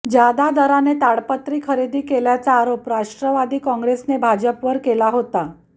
जादा दराने ताडपत्री खरेदी केल्याचा आरोप राष्ट्रवादी काँग्रेसने भाजपवर केला होता